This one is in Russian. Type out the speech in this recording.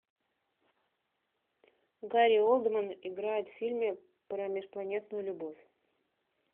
гари олдман играет в фильме про межпланетную любовь